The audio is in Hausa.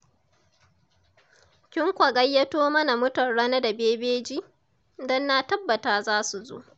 Kin kwa gayyato mana mutan Rano da Bebeji, don na tabbata za su zo.